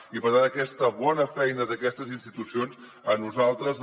i per tant aquesta bona feina d’aquestes institucions a nosaltres